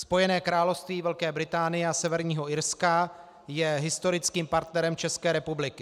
"Spojené království Velké Británie a Severního Irska je historickým partnerem České republiky.